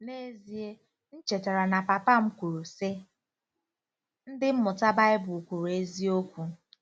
N'ezie, m chetara na papa m kwuru, sị, “ Ndị Mmụta Baịbụl kwuru eziokwu!